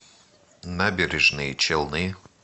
набережные челны